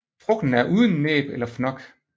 Frugten er uden næb eller fnok